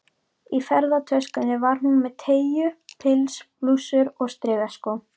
Í ferðatöskunni var hún með teygju- pils, blússur og strigaskó.